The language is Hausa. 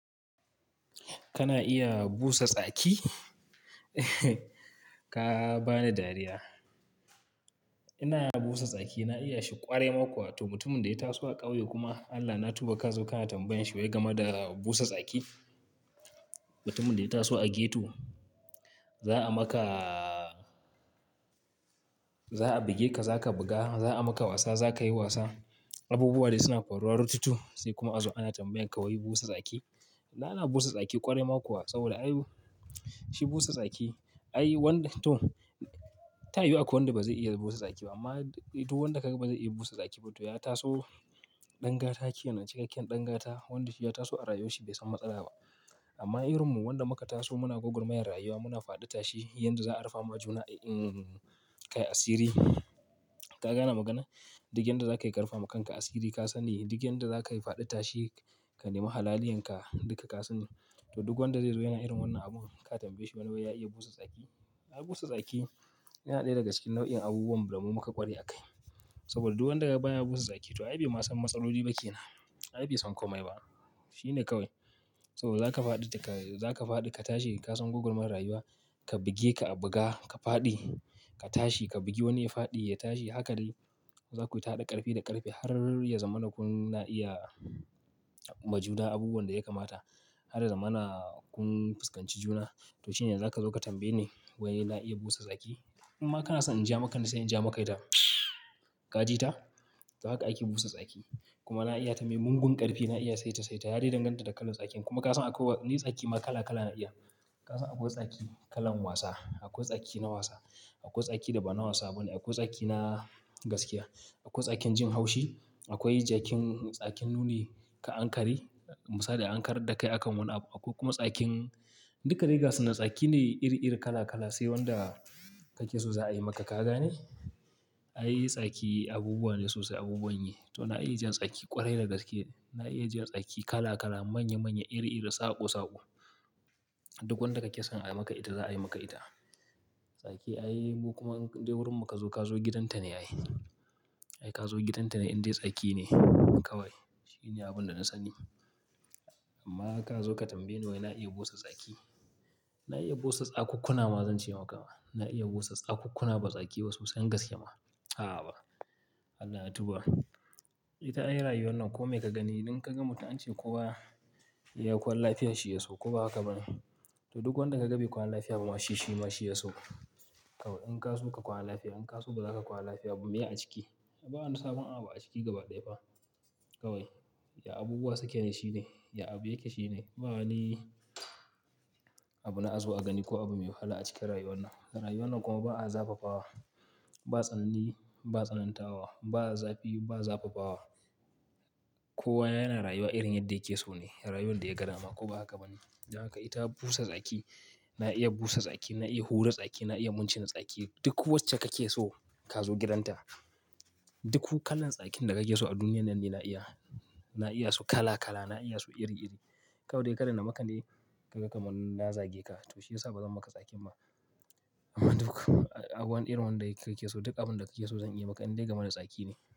Kana iya busa tsaki? Ka bani dariya. Ina iya busa tsaki, na iya shi ƙwarai makwa. To, mutumin da ya taso a ƙauye kuma Allah na tuba ka zo ka tambaye shi wai gama da busa tsaki. Mutumin da ya taso a ghetto, za a maka-- za a buge ka, za ka buga, za a maka wasa, za ka yi wasa, abubuwa dai suna faruwa rututu sai kuma aza ana tambayan ka wai busa tsaki. Na iya busa tsaki ƙwarai makwa saboda ay shi busa tsaki, ay wanda to, ta iya yuwuwa akwai wanda ba zai iya busa tsakin ba. Amma duk wanda ka ga ba zai iya busa tsaki ba, to ya taso ɗan gata ke nan cikakken ɗan gata wanda shi ya taso a rayuwa shi bai san matsala ba. Amma irinmu wanda muka taso muna gwagwar mayar rayuwa, muna faɗi tashi, yanda za a rufe mu a juna, kai asiri. Ka gane magana? Duk yanda za ka yi karufa ma kanka asiri ka sani, duk yanda za ka yi faɗi tashi ka nema halaliyan ka duka ka sani. To, duk wanda zai zo yana irin wannan abun ka tambaye shi wani wai ya iya busa tsaki. A busa tsaki, yana ɗaya daga cikin nau'in abubuwan damu muka ƙware a kai. Saboda duk wanda kaga baya busa tsaki to ai bai ma san matsaloli ba ke nan. Ai bai san komai ba. Shi ne kawai. Saboda za ka faɗi da ka-- za ka faɗi ka tashi ka san gwagwar mayar rayuwa, ka buge ka a buga, ka faɗi, ka tashi, ka bugi wani ya faɗi, ya tashi, haka dai. Za ku yi ta haɗa ƙarfi da ƙarfe har ya zamana kuna iya ma juna abubuwan da ya kamata. Har ya zamana kun fuskanci juna. To shine za ka zo ka tambaye ni wai na iya busa tsaki? Imma kana son in ja maka ni sai in ja maka ita mtswww. Ka ji ta? To haka ake busa tsaki. Kuma na iya ta maimugun ƙarfe, na iya saita saita, ya dai danganta da kalan tsakin. Kuma ka san akwai ni tsaki ma kala kala na iya. Ka san akwai tsaki kalan wasa, akwai tsaki na wasa, akwai tsaki da ba na wasa bane, akwai tsaki na gaskiya, akwai tsakin jin haushi, akwai jakin tsakin nuni ka Ankara, misali a an karrar da kai akan wani abu. Akwai kuma tsakin duka dai gasu na tsaki ne iri iri kala kala sai wanda kake so za a yi maka ka gane. Ai tsaki abubuwa ne sosai abubuwan yi. To na iya jan tsaki ƙwarai da daske. Na iya jan tsaki kala kala, manya manya, iri iri, saƙo saƙo. Duk wanda kake son a yi maka ita za a yi maka ita. Tsaki ai kuma idan wurin mu ka zo ka zo gidanta ne ayi. Ai ka zo gidanta ne indai tsaki ne kawai. Shi ne ni abun da na sani. Amma ka zo ka tambaye ni wai na iya busa tsaki. Na iya busa tsakukkuna ma zan ce maka ma. Na iya busa tsakukkuna ba tsaki ba sosai gaskiya ma. Aha ba. Allah na tuba. Ita ai rayuwar nan kome ka gani idan ka ga mutum ance kowa ya kwan lafiya shi ya so, ko ba haka bane? To duk wanda ka gabi kwana lafiya ba ma shi shi ma shi ya so. In ka so ka kwana lafiya, in ka so ba za ka kwana lafiya ba, meye a ciki? Bawa ni sabon abu a ciki gaba ɗaya ba. Kawai, ya abubuwa suke ne shine, ya abu yake shine. Ba wani abu na azo a gani ko abu mai wahala a cikin rayuwar nan. Rayuwar nan kuma ba a zafafa wa. Ba tsanani ba tsanantawa, ba zafi ba zafafawa. Kowa yana rayuwa irin yadda yake so ne, rayuwar da ya gada ma ko ba haka bane? Haka ita busa tsaki. Na iya busa tsaki, na iya hura tsaki, na iya mun cin tsaki. Duk wacce kake so ka zo gidanta. Duk kalan tsakin da kake so a duniyar nan ne na iya. Na iya su kala kala, na iya su iri iri. Kawai ka daina maka ne ka ga kamanna zage ka. To shi ya sa ba zan maka tsaki ba. Amma duk abu irin wanda kake so duk abin da kake so zan iya maka indai gama da tsaki ne.